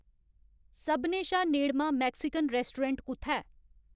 सभनें शा नेड़मां मैक्सिकन रैस्टोरैंट कु'त्थै ऐ